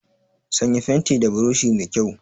Sanya fentin da burushi mai kyau!